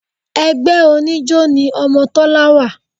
Ẹgbẹ́ oníjó ni ọmọ Tọ́lá wà